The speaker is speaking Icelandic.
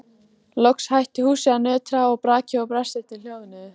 Loks hætti húsið að nötra og brakið og brestirnir hljóðnuðu.